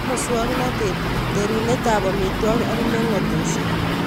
Nebo muswoknatet, rerunetab amitwogik ak mengotosyek